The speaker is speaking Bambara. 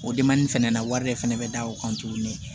O demani fɛnɛ na wari de fɛnɛ bɛ da o kan tuguni